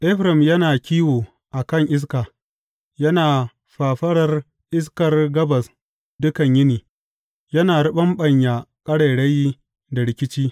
Efraim yana kiwo a kan iska; yana fafarar iskar gabas dukan yini yana riɓaɓɓanya ƙarairayi da rikici.